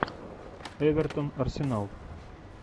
эвертон арсенал